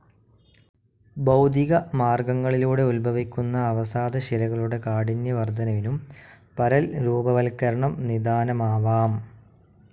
ഭൌതികമാർഗങ്ങളിലൂടെ ഉദ്ഭവിക്കുന്ന അവസാദശിലകളുടെ കാഠിന്യവർധനവിനും പരൽരൂപവത്കരണം നിദാനമാവാം.